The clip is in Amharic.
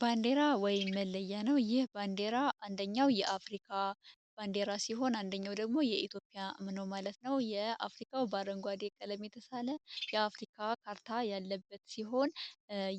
ባንዴራ ወይ መለያ ነው ይህ ዴራአኛው የአሪባንዴራ ሲሆን አንደኛው ደግሞ የኢትዮፒያ ምኖ ማለት ነው የአፍሪካው በአረንጓዴ የቀለም የተሳለ የአፍሪካ ካርታ ያለበት ሲሆን